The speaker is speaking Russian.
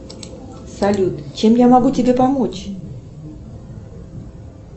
салют чем я могу тебе помочь